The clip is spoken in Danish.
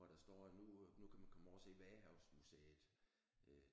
Hvor der står at nu nu kan man komme over og se Vadehavsmuseet øh